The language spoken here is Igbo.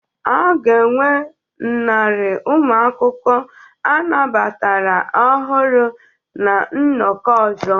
A ga-enwe narị ụmụ akwụkwọ anabatara ọhụrụ na nnọkọ ọzọ